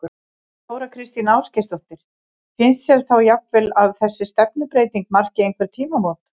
Þóra Kristín Ásgeirsdóttir: Finnst þér þá jafnvel að þessi stefnubreyting marki einhver tímamót?